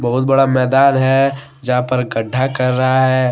बहुत बड़ा मैदान है जहां पर गड्ढा कर रहा है।